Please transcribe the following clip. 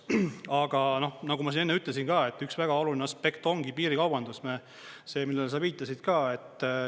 Aga nagu ma enne ütlesin ka, et üks väga oluline aspekt ongi piirikaubandus, see, millele sa viitasid ka.